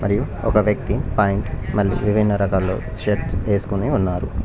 మరియు ఒక వ్యక్తి ప్యాంట్ మళ్లీ విభిన్న రకాలు షర్ట్స్ ఏసుకుని ఉన్నారు.